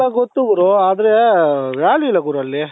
ಎಲ್ಲ ಗೊತ್ತು ಗುರು ಆದರೆ value ಇಲ್ಲ ಗುರು ಅಲ್ಲಿ